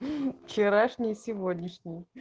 мм вчерашний сегодняшний